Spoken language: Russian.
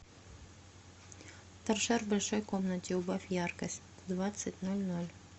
торшер в большой комнате убавь яркость в двадцать ноль ноль